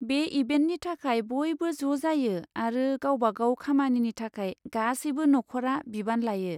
बे इभेन्टनि थाखाय बयबो ज' जायो आरो गावबा गाव खामानिनि थाखाय गासैबो नखरआ बिबान लायो।